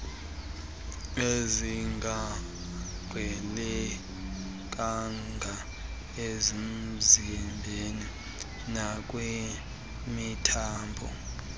ezingaqhelekanga emzimbeni nakwimithambo